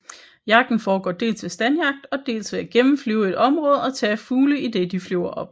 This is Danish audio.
Jagten foregår dels ved standjagt og dels ved at gennemflyve et område og tage fugle idet de flyver op